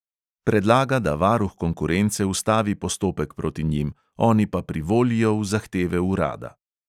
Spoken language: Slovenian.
Predlaga, da varuh konkurence ustavi postopek proti njim, oni pa privolijo v zahteve urada.